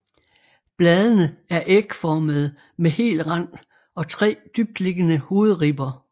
Bladene er ægformede med hel rand og tre dybtliggende hovedribber